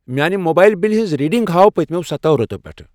میانہِ موبایِل بِلہِ ہٕنٛز ریڈنگہٕ ہاو پٔتۍمٮ۪و سَتَو ریٚتَو پٮ۪ٹھٕ ۔